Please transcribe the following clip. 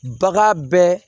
Bagan bɛ